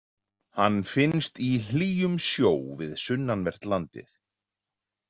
Hann finnst í hlýjum sjó við sunnanvert landið.